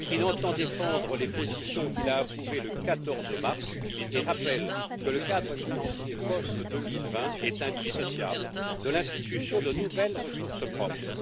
Il entend défendre les positions qu'il a approuvées le 14 mars et rappelle que le cadre financier post 2020 est indissociable de l'institution de nouvelles ressources propres.